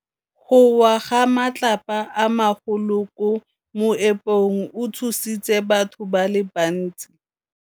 Go wa ga matlapa a magolo ko moepong go tshositse batho ba le bantsi.